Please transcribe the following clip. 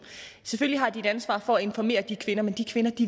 selvfølgelig har de et ansvar for at informere de kvinder men de kvinder